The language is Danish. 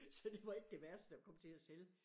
Så det var ikke det værste at komme til at sælge